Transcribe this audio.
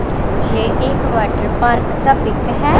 ये एक water park का पिक है।